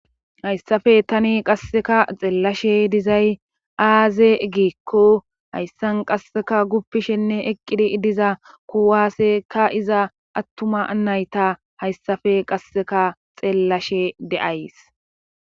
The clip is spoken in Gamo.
Hayssappe tani qassikka xeellashe dizay aaze giikko hayssan qassikka guppishenne eqqidi diza kuwaaseka iza attuma nayta hayssape qasseka xeellashe de'ays.